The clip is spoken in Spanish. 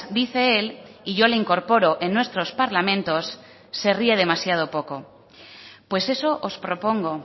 dice él y yo le incorporo en nuestros parlamentos se ríe demasiado poco pues eso os propongo